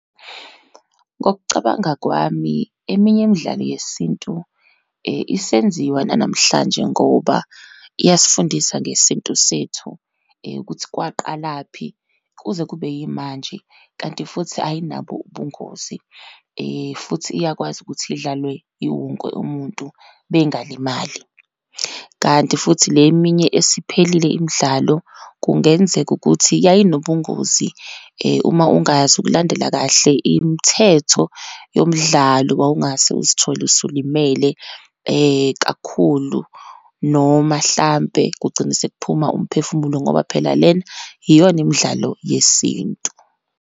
Ngokucabanga kwami, eminye imidlalo yesintu isenziwa nanamhlanje ngoba iyasifundisa ngesintu sethu ukuthi kwaqalaphi, kuze kube yimanje, kanti futhi ayinabo ubungozi, futhi iyakwazi ukuthi idlalwe iwonke umuntu bengalimali. Kanti futhi le eminye esiphelile imidlalo, kungenzeka ukuthi yayinobungozi. Uma ungazi ukulandela kahle imithetho yomdlalo wawungase uzithole usulimele kakhulu, noma hlampe, kugcine sekuphuma umphefumulo ngoba phela lena iyona imidlalo yesintu.